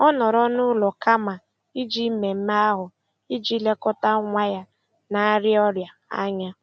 Ọ nọrọ n'ụlọ kama ije mmemme ahụ iji lekọta nwa ya na-arịa ọrịa anya.